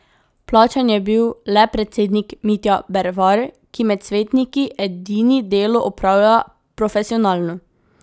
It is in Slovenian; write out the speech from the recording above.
Plačan je bil le predsednik Mitja Bervar, ki med svetniki edini delo opravlja profesionalno.